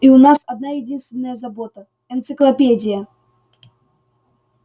и у нас одна-единственная забота энциклопедия